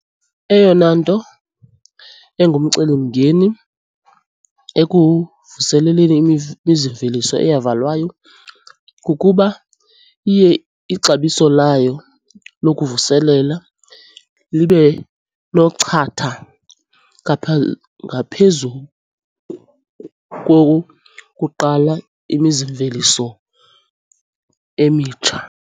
Eyona nto engumcelimngeni ekuvuseleleni imizimveliso eyavalwayo kukuba iye ixabiso layo lokuvuselela libe nochatha ngaphezu kokukuqala imizimveliso emitsha.